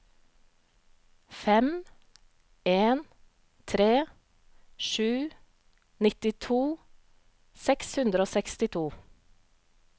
fem en tre sju nittito seks hundre og sekstito